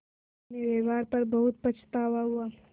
अपने व्यवहार पर बहुत पछतावा हुआ